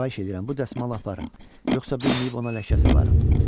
Xahiş edirəm bu dəsmalı aparın, yoxsa bilməyib ona ləkə salaram.